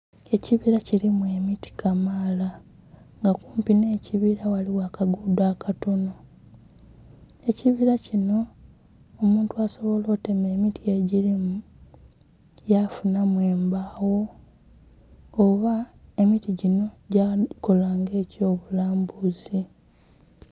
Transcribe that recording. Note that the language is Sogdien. Ekibila kilimu emiti kamaala nga okumpi nhe ekibila ghaligho akagudho akatonho. Ekibila kinho omuntu asobola okutema emiti egilimu ya funhamu embagho oba emiti dhinho dhakola nga ekyo bulambuzi